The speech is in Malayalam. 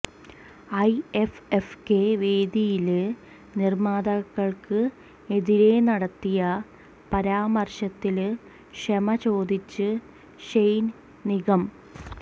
ഐഎഫ്എഫ്കെ വേദിയില് നിര്മ്മാതാക്കള്ക്ക് എതിരെ നടത്തിയ പരാമര്ശത്തില് ക്ഷമ ചോദിച്ച് ഷെയ്ന് നിഗം